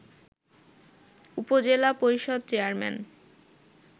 উপজেলা পরিষদ চেয়ারম্যান